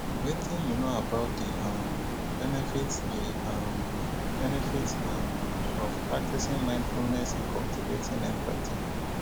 wetin you know about di um benefits di um benefits um of practicing mindfulness in cultivating empathy?